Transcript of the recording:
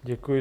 Děkuji.